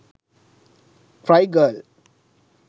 cry girl